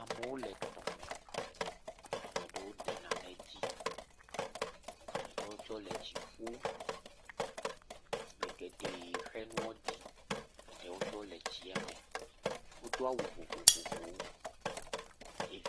Ame ɖewo le tɔme, ame ɖewo de nane dzi, ame ɖewo tsɛ wole tsi ƒum, ame geɖe xe nuɔ di, eɖewo tsɛ wole tsie me. Wodo awu vovovowo.